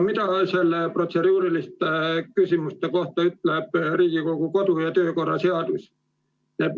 Mida protseduuriliste küsimuste kohta ütleb Riigikogu kodu- ja töökorra seadus?